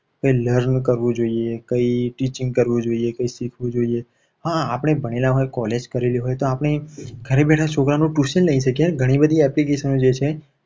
તે learn કરવું જોઈએ. કંઈ teaching કરવું જોઈએ કંઈ શીખવું જોઈએ. હા આપણે ભણેલા હોય college કરેલી હોય તો આપણે ઘરે બેઠા છોકરાનું tuition લઈ શકીએ. ઘણી બધી application જે છે.